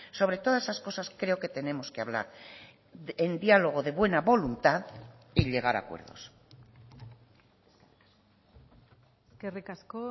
sobre todas esas cosas creo que tenemos que hablar en diálogo de buena voluntad y llegar a acuerdos eskerrik asko